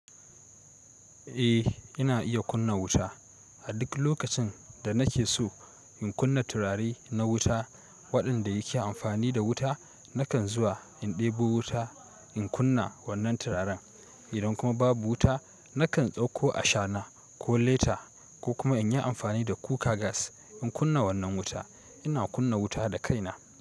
Eh, ina iya kunna wuta. A duk lokacin da nake so in kunna turare na wuta waɗanda yake amfani da wuta, nakan zuwa in ɗebo wuta in kunna wannan turaren. Idan kuma babu wuta, nakan ɗauko ashana ko leta ko kuma in yi amfani da kuka gas in kunna wannan wuta. Ina kunna wuta da kaina.